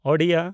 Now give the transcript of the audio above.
Odia (Oriya)